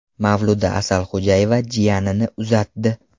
Mavluda Asalxo‘jayeva jiyanini uzatdi.